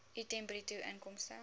item bruto inkomste